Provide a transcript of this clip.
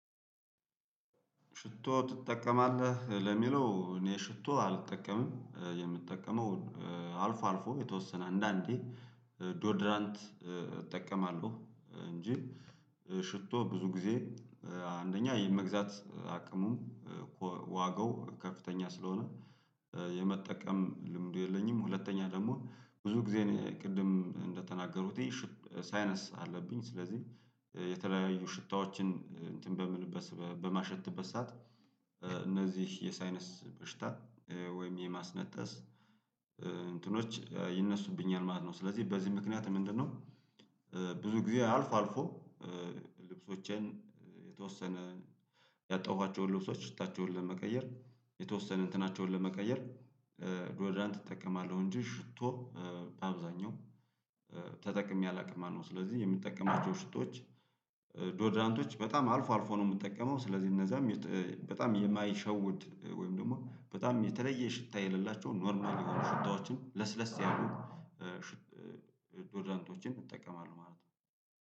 ሽቶ ትጠቀማለህ ለሚለው እኔ ሽቶ አልጠቀምም የምጠቀመው አልፎ አልፎ የተወሰነ አንዳንዴ ዶድራንት እጠቀማለሁ እንጂ ሽቶ ብዙ ጊዜ አንደኛ የመግዛት አቅሙም ዋጋው ከፍተኛ ስለሆነ የመጠቀም ልምዱ የለኝም። ሁለተኛ ደግሞ ብዙ ጊዜ እኔ ቅድም እንደተናገርኩትኝ ሳይነሳ አለብኝ ስለዚህ የተለያዩ ሽታዎችን እንትን በምልበት በማሸትበት ሰዓት እነዚህ የሳይነስ በሽታ ወይም የማስነጠስ እንትኖች ይነሱብኛል ማለት ነው ስለዚህ በዚህ ምክንያት ምንድነው? ብዙ ጊዜ አልፎ አልፎ ልብሶቼን የተወሰነ ያጣብኳቸውን ልብሶች ሽታቸውን ለመቀየር የተወሰነ እንትናቸውን ለመቀየር ዶደራንት እጠቀማለሁ እንጂ ሽቶ በአብዛኛው ተጠቅሜ አላውቅም ማለት ነው። ስለዚህ የምጠቀማቸው ሽቶዎች ዶደራንቶች በጣም አልፎ አልፎ ነው የምጠቀመው። ስለዚህ እነዛም በጣም የማይሸውድ ወይም ደግሞ በጣም የተለየ ሽታ የሌላቸው ኖርማል የሆኑ ሽታዎችን ለስለስ ያሉ ዶደራንቶችን እጠቀማለሁ ማለት ነው